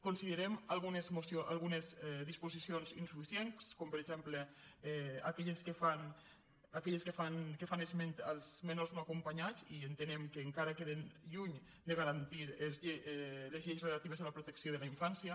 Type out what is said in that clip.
considerem algunes disposicions insuficients com per exemple aquelles que fan esment als menors no acompanyats i entenem que encara queden lluny de garantir les lleis relatives a la protecció de la infància